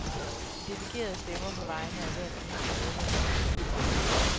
De delegerede stemmer på vegne af hvert eneste medlem i deres klub.